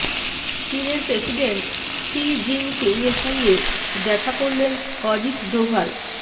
চিনের president Xi জিংপিংয়ের সঙ্গে দেখা করলেন অজিত ডোভাল